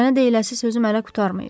Sənə deyiləsi sözüm hələ qurtarmayıb.